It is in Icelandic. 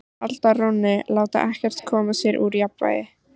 Halda rónni, láta ekkert koma sér úr jafnvægi.